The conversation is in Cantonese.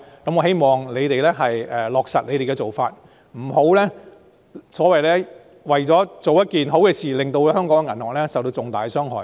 我希望政府能落實這些做法，不要為了做一件好事而令香港銀行受到重大的傷害。